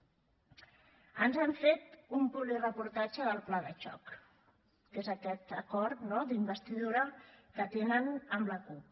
ens han fet un publireportatge del pla de xoc que és aquest acord no d’investidura que tenen amb la cup